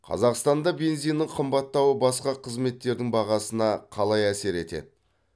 қазақстанда бензиннің қымбаттауы басқа қызметтердің бағасына қалай әсер етеді